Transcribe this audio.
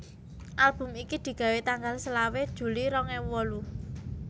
Album iki digawé tanggal selawe juli rong ewu wolu